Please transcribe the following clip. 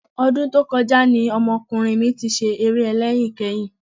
Ọdún tó kọjá ni ọmọkùnrin mi ti ṣeré ẹlẹ́yin kẹ́yìn